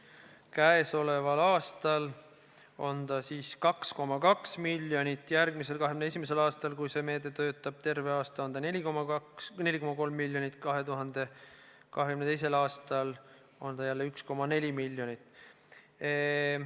Käesoleval aastal on see 2,2 miljonit, järgmisel, 2021. aastal, kui see meede töötab, terve aasta peale 4,3 miljonit, 2022. aastal on 1,4 miljonit.